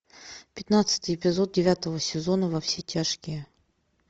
пятнадцатый эпизод девятого сезона во все тяжкие